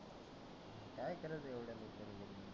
काय करायचं एवढ्या लवकर करुन.